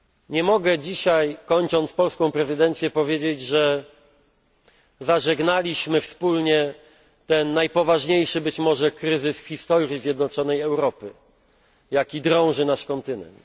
Nie mogę dzisiaj, kończąc polską prezydencję, powiedzieć, że zażegnaliśmy wspólnie ten najpoważniejszy być może kryzys w historii zjednoczonej Europy, jaki drąży nasz kontynent.